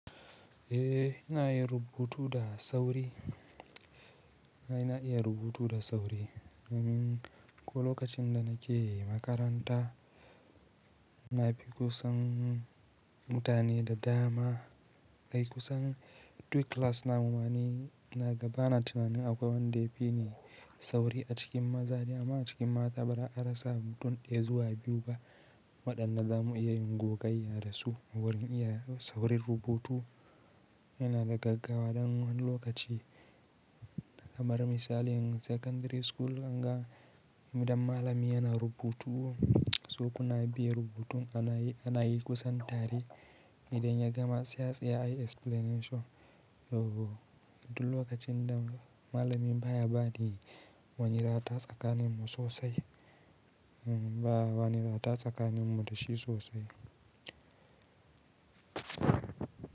Eh ina yin rubutu da sauri. Na iya rubutu da sauri. Domin ko lokacin da nake makaranta, na fi kusan mutane da dama, kai kusan Duk class namu mani ina ga bana tunanin akwai wanda ya fi ni sauri a cikin maza ne amma a cikin mata baza'arasa mutum ɗaya zuwa biyu ba. Waɗanda za mu iya yin gogayya da su wurin iya saurin rubutu. Ina da gaggawa dan wani lokaci kamar misalin a secondary school ɗin ga idan malami yana rubutu, so kuna biya rubutun ana yi ana yi kusan tari. Idan ya gama, sai a tsaya ayi explanation. Duk lokacin da malamin baya bani, wani rata tsakanin mu sosai. Ba wani rata tsakanin mu da shi sosai.